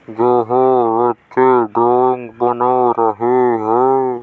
यहाँ बच्चे ड्राइंग बना रहे हैं।